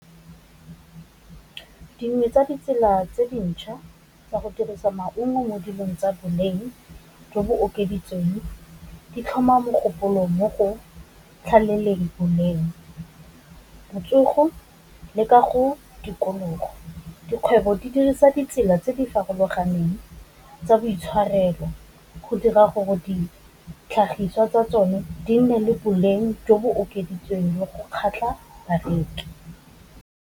Dingwe tsa ditsela tse dintšha ka go dirisa maungo mo dilong tsa boleng jo bo okeditsweng, di tlhoma mogopolo mo go tlhaleleng boleng, botsogo, le ka go tikologo, dikgwebo di dirisa ditsela tse di farologaneng tsa boitshwarelo, go dira gore di ditlhagiswa tsa tsone di nne le boleng jo bo okeditsweng go kgatlha bareki.